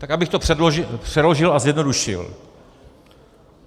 Tak abych to přeložil a zjednodušil.